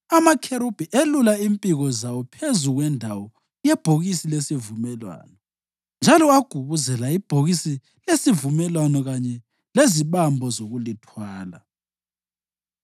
Amakherubhi elula impiko zawo phezu kwendawo yebhokisi lesivumelwano njalo agubuzela ibhokisi lesivumelwano kanye lezibambo zokulithwala.